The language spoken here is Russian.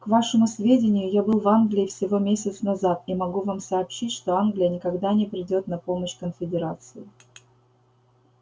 к вашему сведению я был в англии всего месяц назад и могу вам сообщить что англия никогда не придёт на помощь конфедерации